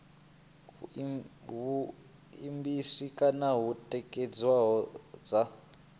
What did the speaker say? vhuimabisi kana hune thekhisi dza